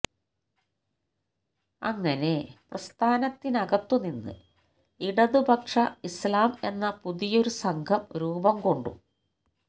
അങ്ങനെ പ്രസ്ഥാനത്തിനകത്തുനിന്ന് ഇടതുപക്ഷ ഇസ്്ലാം എന്ന പുതിയൊരു സംഘം രൂപം കൊണ്ടു